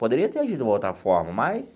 Poderia ter agido de uma outra forma, mas...